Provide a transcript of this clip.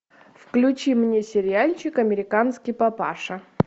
включи мне сериальчик американский папаша